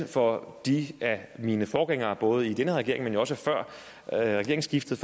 for mine forgængere både i denne regering men jo også før regeringsskiftet